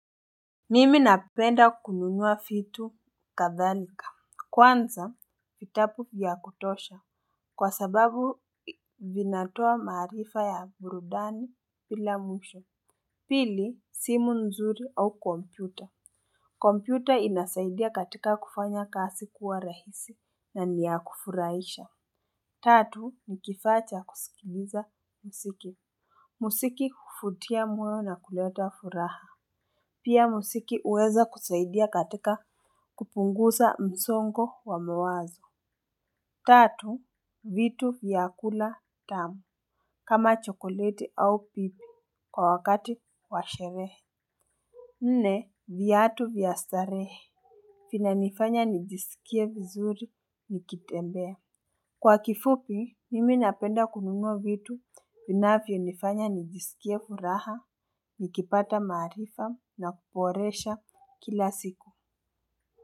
Mimi napenda kununua vitu kadhalika. Kwanza fitapu ya kutosha. Kwa sababu vinatoa marifa ya burudani pila mwisho. Pili simu nzuri au kompyuta kompyuta inasaidia katika kufanya kasi kuwa rahisi na ni ya kufuraisha. Tatu ni kifaa cha kusikiliza musiki. Musiki hufutia mweo na kuleta furaha. Pia musiki uweza kusaidia katika kupungusa msongo wa mwazo. Tatu, vitu vya kula tamu. Kama chokolete au pipi kwa wakati wa sherehe. Nne, viatu vya starehe. Fina nifanya nijisikie vizuri nikitembea. Kwa kifupi mimi napenda kununua vitu vinavyo nifanya nijisikie furaha nikipata marifa na kuporesha kila siku.